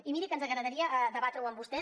i miri que ens agradaria debatre ho amb vostè